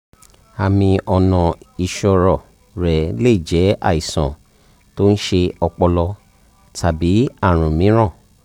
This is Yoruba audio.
àmì ọ̀nà ìsọ̀rọ̀ rẹ lè jẹ́ àìsàn tó ń ṣe ọpọlọ tàbí àrùn mìíràn